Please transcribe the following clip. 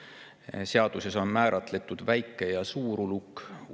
on määratletud väike‑ ja suurulukid.